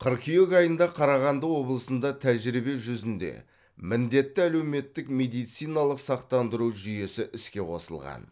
қыркүйек айында қарағанды облысында тәжірибе жүзінде міндетті әлеуметтік медициналық сақтандыру жүйесі іске қосылған